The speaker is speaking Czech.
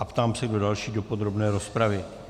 A ptám se, kdo další do podrobné rozpravy.